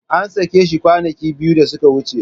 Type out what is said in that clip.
An sake shi kwanaki biyu da suka wuce.